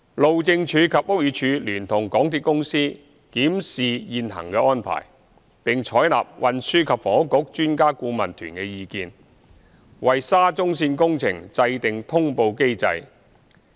路政署及屋宇署聯同港鐵公司檢視現行安排，並採納運輸及房屋局專家顧問團的意見，為沙中線工程制訂通報機制。